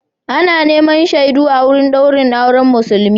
Ana neman shaidu a wurin daurin auren Musulmi.